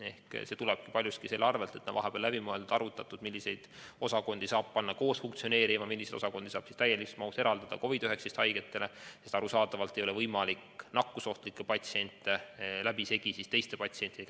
Aga see tuleb paljuski selle arvel, et vahepeal on läbi mõeldud ja arvutatud, milliseid osakondi saab panna koos funktsioneerima ja milliseid osakondi saab täies mahus eraldada COVID-19 haigetele, sest arusaadavalt ei ole võimalik käsitleda nakkusohtlikke patsiente läbisegi teiste patsientidega.